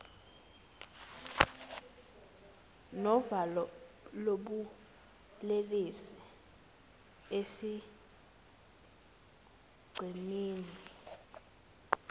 novalo lobulelesi esigcemeni